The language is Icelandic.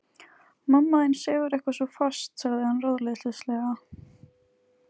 Mamma þín sefur eitthvað svo fast sagði hann ráðleysislega.